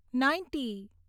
ninety